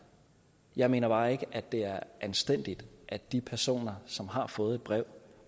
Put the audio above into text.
jeg mener bare ikke at det er anstændigt at de personer som har fået et brev